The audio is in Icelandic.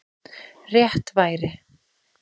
Rétt væri